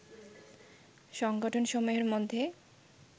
সংগঠনসমূহের মধ্যেই